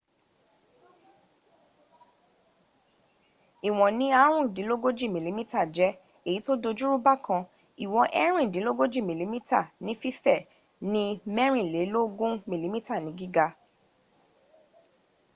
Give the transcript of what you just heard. ìwọ̀n ní ààrùndínlógójì mm jẹ èyí tó dojúrú bákan ìwọ̀n èèríndínlógójì mm ní fífè ní mẹ̀rìnlẹ́lógún mm ní gíga